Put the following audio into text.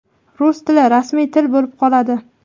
Rus tili rasmiy til bo‘lib qoladi.